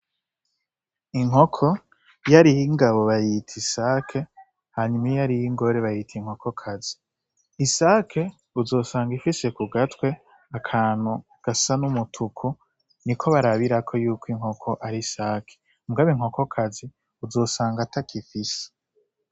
Inkoko iyo ariy'ingabo bayita isake hanyuma iyo ariy'ingore bayita inkoko kazi, isake uzosanga ifise kugatwe akantu gasa n' umutuku niko barabirako yuko inkoko ari isake mugabo inkokokazi uzosanga atako ifise.